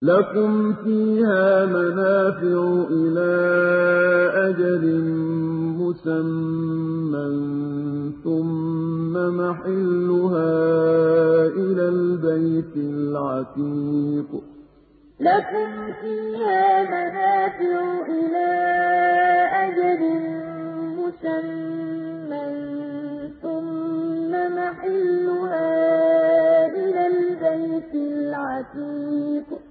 لَكُمْ فِيهَا مَنَافِعُ إِلَىٰ أَجَلٍ مُّسَمًّى ثُمَّ مَحِلُّهَا إِلَى الْبَيْتِ الْعَتِيقِ لَكُمْ فِيهَا مَنَافِعُ إِلَىٰ أَجَلٍ مُّسَمًّى ثُمَّ مَحِلُّهَا إِلَى الْبَيْتِ الْعَتِيقِ